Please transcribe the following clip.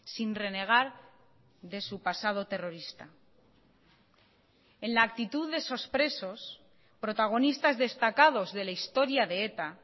sin renegar de su pasado terrorista en la actitud de esos presos protagonistas destacados de la historia de eta